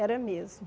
Era mesmo.